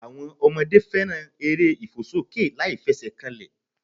Àwọn Ọmọdé fẹ́ràn eré ìfòsókè láìfesèkanlè